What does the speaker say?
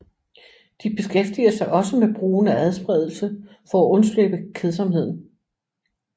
De beskæftiger sig også med brugen af adspredelser for at undslippe kedsomheden